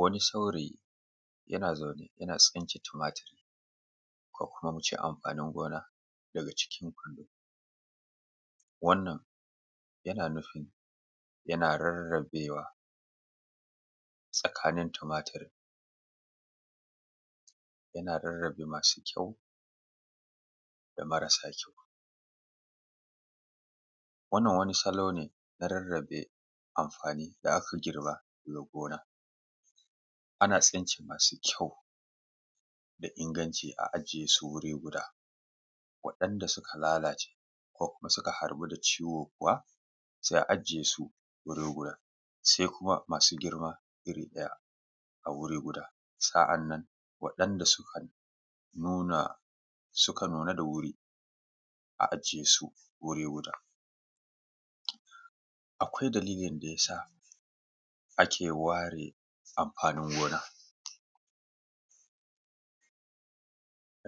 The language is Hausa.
Wani saurayi yana zaune yana tsince tumatur ko kuma mu ce amfani gina daga ciki. Wannan yana nufin yana rarrabewa tsakanin tumatur, yana rarrabe madu ƙyau da marasa ƙyau. Wannan wani salo ne na rarrabe amfani da aka girba daga gona ana tsince masu ƙyau da inganci a ajiye su guri guda waɗanda suka lalace ko suka harbu ciwo kuwa sai a ajiye su wani wurin. Sai kuma masu girma wuri guda a iri ɗaya, waɗanda suka nuna da wuri a ajiye su wuri guda. Akwai dalilli da ya sa ake ware amfani gona,